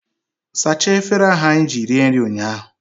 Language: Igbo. Sachaa efere ahụ anyị ji rie nri ụnyaahụ!